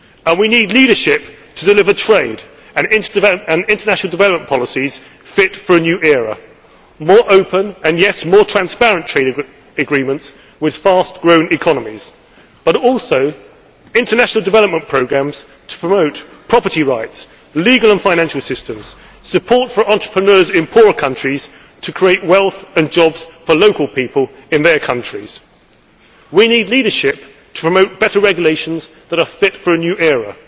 We need leadership to deliver trade and international development policies fit for a new era more open, and yet more transparent trade agreements with fast growing economies, but also international development programmes to promote property rights, legal and financial systems, support for entrepreneurs in poorer countries to create wealth and jobs for local people in their countries. We need leadership to promote better regulations that are fit for a new